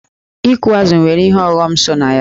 Ịkụ azụ̀ nwere ihe ọghọm so na ya.